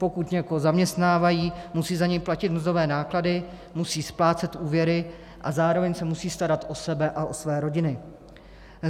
Pokud někoho zaměstnávají, musí za něj platit mzdové náklady, musí splácet úvěry a zároveň se musí starat o sebe a o své rodiny.